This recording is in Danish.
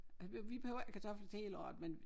Vi vi behøver ikke kartofler til hele året men